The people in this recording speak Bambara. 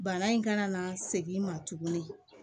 Bana in kana na segin ma tuguni